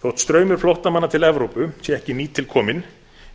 þótt straumur flóttamanna til evrópu sé ekki nýtilkominn